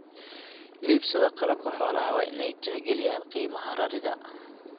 Iibsadaa qalabka xoolaha waa in ay tixgeliyaan qiimaha rarida.